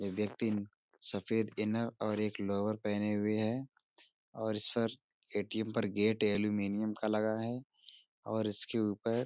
ये व्यक्तिन सफ़ेद इनर और एक लोवर पहने हुए है और इस पर ए.टी.एम. पर गेट एल्युमीनियम का लगा है और इसके ऊपर --